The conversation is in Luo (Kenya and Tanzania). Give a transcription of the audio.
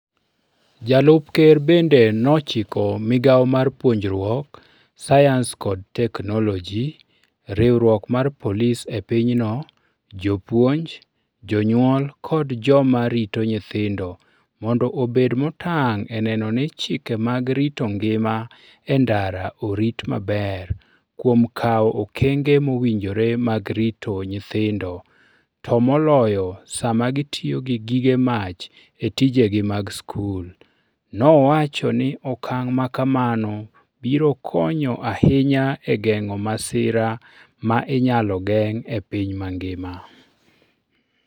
Jalup Ker bende nochiko Migawo mar Puonjruok, Sayans kod Teknoloji, Riwruok mar Polis e pinyno, jopuonj, jonyuol kod joma rito nyithindo mondo obed motang ' e neno ni chike mag rito ngima e ndara orit maber kuom kawo okenge mowinjore mag rito nyithindo to moloyo sama gitiyo gi gige mach e tijegi mag skul. Nowacho ni okang ' ma kamano biro konyo ahinya e geng'o masira ma inyalo geng ' e piny mangima.